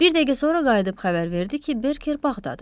Bir dəqiqə sonra qayıdıb xəbər verdi ki, Berker bağdadır.